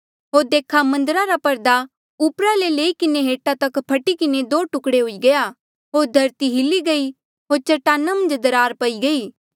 होर देखा मन्दरा रा पर्दा ऊपरा ले लई किन्हें हेठा तक फटी किन्हें दो टुकड़े हुई गया होर धरती हिली गई होर चट्टाना मन्झ दरार पई गई